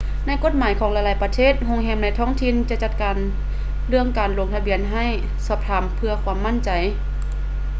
ໃນກົດໝາຍຂອງຫຼາຍໆປະເທດ ໂຮງແຮມໃນທ້ອງຖິ່ນຈະຈັດການເລື່ອງການລົງທະບຽນໃຫ້ ສອບຖາມເພື່ອຄວາມໝັ້ນໃຈ